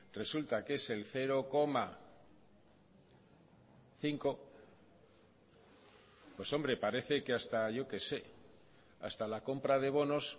resulta que es el cero coma cinco pues hombre parece que hasta yo que sé hasta la compra de bonos